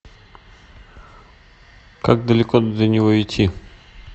как далеко до него идти